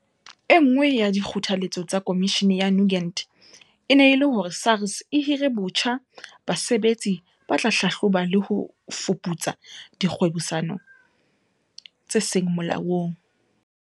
E nngwe ya dikgothaletso tsa Komishini ya Nugent e ne e le hore SARS e hire botjha basebetsi ba tla hlahloba le ho fuputsa dikgwebisano tse seng molaong.